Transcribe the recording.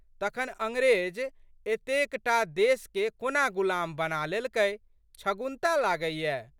तखन अंग्रेज एतेक टा देशके कोना गुलाम बना लेलकै छगुन्ता लागैए।